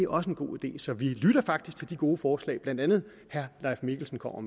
også en god idé så vi lytter faktisk til de gode forslag som blandt andet herre leif mikkelsen kommer